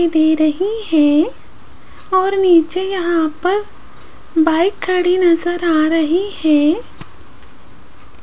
दे रही है और नीचे यहां पर बाइक खड़ी नजर आ रही है।